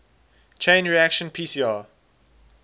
chain reaction pcr